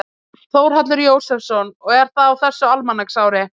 Þórhallur Jósefsson: Og er það á þessu almanaksári?